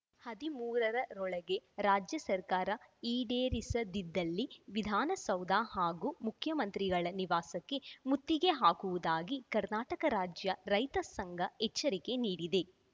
ಹದಿಮೂರ ರೊಳಗೆ ರಾಜ್ಯ ಸರ್ಕಾರ ಈಡೇರಿಸದಿದ್ದಲ್ಲಿ ವಿಧಾನಸೌಧ ಹಾಗೂ ಮುಖ್ಯಮಂತ್ರಿಗಳ ನಿವಾಸಕ್ಕೆ ಮುತ್ತಿಗೆ ಹಾಕುವುದಾಗಿ ಕರ್ನಾಟಕ ರಾಜ್ಯ ರೈತ ಸಂಘ ಎಚ್ಚರಿಕೆ ನೀಡಿದೆ